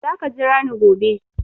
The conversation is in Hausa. Za ka jira ni gobe!